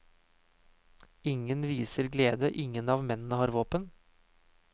Ingen viser glede, ingen av mennene har våpen.